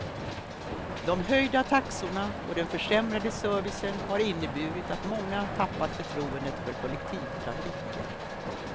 De höjda taxorna och den försämrade servicen har inneburit att många tappat förtroendet för kollektivtrafiken.